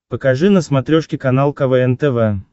покажи на смотрешке канал квн тв